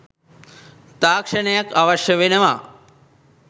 තාක්ෂණයක් අවශ්‍ය වෙනවා.